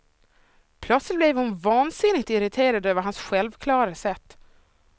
Plötsligt blev hon vansinnigt irriterad över hans självklara sätt.